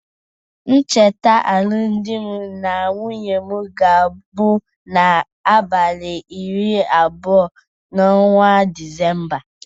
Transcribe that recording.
Ncheta alụm dị na nwunye m ga-abụ na abalị iri abụọ n'ọnwa Disemba.